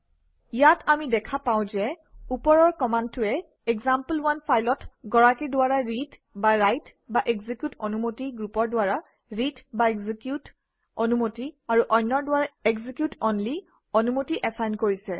ইয়াত আমি দেখা পাওঁ যে ওপৰৰ কমাণ্ডটোৱে এক্সাম্পল1 ফাইলত গৰাকীৰ দ্বাৰা ৰিডৰাইটএক্সিকিউট অনুমতি গ্ৰুপৰ দ্বাৰা ৰিডএক্সিকিউট অনুমতি আৰু অন্যৰ দ্বাৰা এক্সিকিউট অনলি অনুমতি এচাইন কৰিছে